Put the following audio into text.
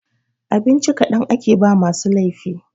Abinci kaɗan ake ba ma masu laifi